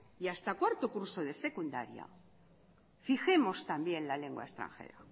y hasta cuarto curso de secundaria fijemos también la lengua extranjera